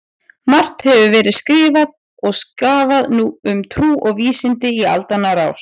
Margt hefur verið skrifað og skrafað um trú og vísindi í aldanna rás.